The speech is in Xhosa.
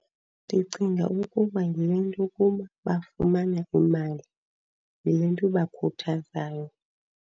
Ndicinga ukuba yile nto yokuba bafumana imali, yile nto ibakhuthazayo.